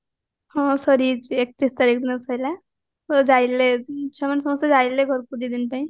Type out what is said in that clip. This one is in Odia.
ହଁ ସରିଯାଇଚି ଏକତିରିଶ ତାରିଖ ଦିନ ସାରିଲା ଯାଇଥିଲେ ଛୁଆମାନେ ସମସ୍ତେ ଯାଇଥିଲେ ଘରକୁ ଦି ଦିନ ପାଇଁ